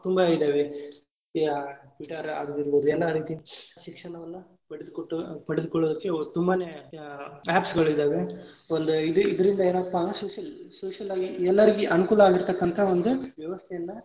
ತುಂಬಾ ಇದಾವೆ Twitter ಇರಬಹುದು ಎಲ್ಲಾ ರೀತಿ ಶಿಕ್ಷಣವನ್ನ ಪಡೆದುಕೊಟ್ಟು ಪಡೆದುಕೊಳ್ಳಕ್ಕೆ ತುಂಬಾನೆ apps ಗಳಿದಾವೆ ಒಂದ ಇದ~ ಇದರಿಂದ ಏನಪ್ಪಾ social, social ಆಗಿ ಎಲ್ಲಾರಿಗೂ ಅನುಕೂಲ ಆಗಿರ್ತಕ್ಕಂತ ಒಂದ ವ್ಯವಸ್ಥೆಯನ್ನ.